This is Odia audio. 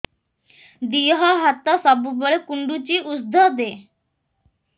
ଦିହ ହାତ ସବୁବେଳେ କୁଣ୍ଡୁଚି ଉଷ୍ଧ ଦେ